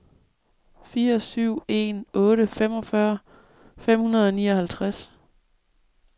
fire syv en otte femogfyrre fem hundrede og nioghalvtreds